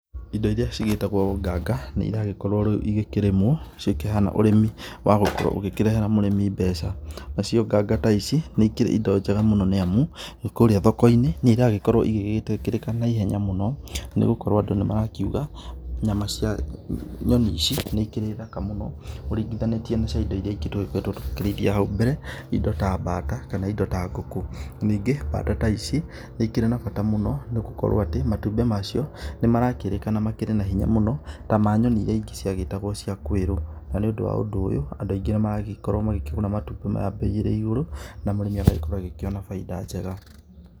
Indo iria cigĩtagwo nganga nĩiragĩkorwo rĩu igĩkĩrĩmwo, cikĩhana ũrĩmi wa gũkorwo ũgĩkĩrehera mũrĩmi mbeca, nacio nganga ta ici nĩ ikĩrĩ indo njega mũno nĩamu, kũrĩa thoko-inĩ nĩirakorwo igĩgĩtĩkĩrĩka naihenya mũno nĩgũkorwo andũ nĩmarakiuga, nyama cia nyoni ici nĩ ikĩrĩ thaka mũno ũringithanĩtie na cia indo irĩa ingĩ tũgĩkoretwo tũkĩrĩithia hau mbere, indo ta bata kana indo ta ngũkũ, ningĩ bata ta ici nĩikĩrĩ na bata mũno nĩgũkorwo atĩ matumbĩ macio nĩmarakĩrĩkana makĩrĩ na hinya mũno ta ma nyoni iria ingĩ ciagĩtagwo cia kwĩrũ, na nĩũndũ wa ũndũ ũyũ andũ aingĩ nĩmaragĩkorwo magĩkĩgũra matumbĩ maya bei ĩrĩ igũrũ, na mũrĩmi agakorwo akĩona baida njega.